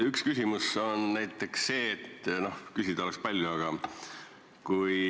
Üks küsimus on näiteks see, kuigi küsida oleks palju.